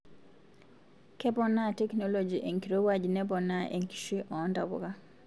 Keponaa teknoloji enkirowaj nepoona enkishuii oo ntapuka